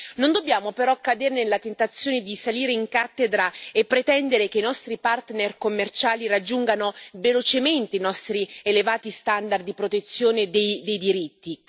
Non dobbiamo però cadere nella tentazione di salire in cattedra e pretendere che i nostri partner commerciali raggiungano velocemente i nostri elevati standard di protezione dei diritti.